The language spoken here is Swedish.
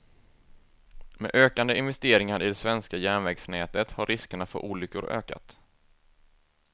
Med ökande investeringar i det svenska järnvägsnätet har riskerna för olyckor ökat.